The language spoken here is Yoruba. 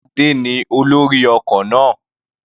Adé ní olórí ọkọ̀ náà.